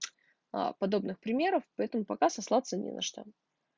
аа подобных примеров поэтому пока сослаться не на что